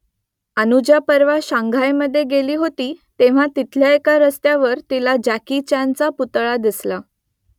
अनुजा परवा शांघायमधे गेली होती तेव्हा तिथल्या एका रस्त्यावर तिला जॅकी चॅनचा पुतळा दिसला